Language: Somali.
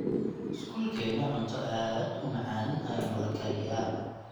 skolkena cunta aad umacan ayaa nolakariyaa